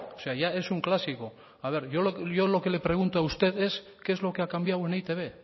sea ya es un clásico a ver yo lo que le pregunto a usted es qué es lo que ha cambiado en e i te be